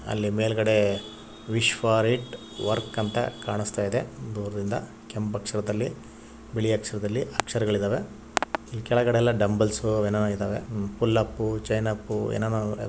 ಅಲ್ಲಿ ಮೇಲ್ಗಡೆ ವಿಶ್ವ ರೆಟ್ ವರ್ಕ್ ಅಂತ ಕಾಣಿಸ್ತಾ ಇದೆ. ಕೆಂಪ್ ಅಕ್ಷರದಲಿ ಬಿಳಿ ಅಕ್ಷರದಲ್ಲಿ ಅಕ್ಷರದಲಿದವೇ ಕೆಳಗಡೆ ದುಬೆಲ್ಸ್ ಪುಲ್ಲೂಪ್ಸ್ ಚೈನ್ಪ್ ಎಲ್ಲ ಇದಾವೆ .